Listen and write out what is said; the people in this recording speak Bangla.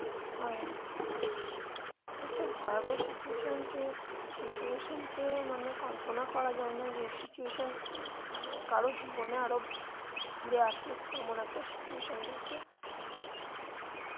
হ্যাঁ একটা ভয়াবহ situation সেই situation কে মানে কল্পনা করা যায় না যে এই situation মানে কারোর জীবনে আবার ঘুরে আসুক এমন একটা situation গেছে.